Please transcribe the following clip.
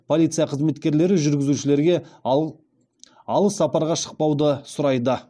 полиция қызметкерлері жүргізушілерге алыс сапарға шықпауды сұрайды